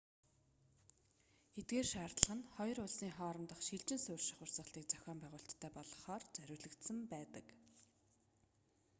эдгээр шаардлага нь хоёр улсын хоорондох шилжин суурьших урсгалыг зохион байгуулалттай болгохоор зориулагдсан байдаг